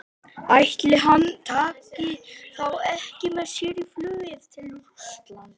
Ætli hann taki þá ekki með sér í flugið til Rússlands?